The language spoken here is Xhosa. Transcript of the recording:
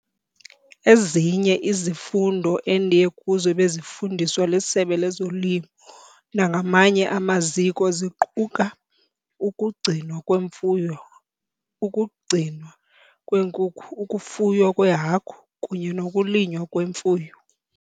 Ezinye izifundo endiye kuzo ebezifundiswa liSebe lezoLimo nangamanye amaziko ziquka- Ukugcinwa kweMfuyo, ukuGcinwa kweeNkukhu, ukuFuywa kweeHagu kunye nokuLinywa kweMifuno.